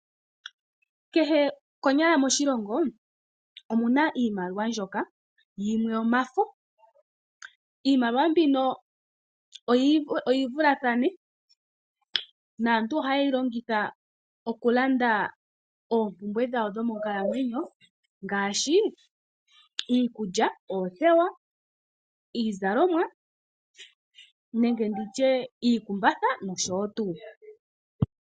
Konyala kehe moshilongo omu na iimaliwa mbyoka yimwe omafo. Iimaliwa mbino oyi vulathane naantu ohaye yi longitha okulanda oompumbwe dhawo dhomonkalamwenyo ngaashi iikulya, iizalomwa, oothewa, nenge ndi tye iikumbatha nosho tuu.